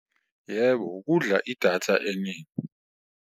Yebo, kudla idatha eningi.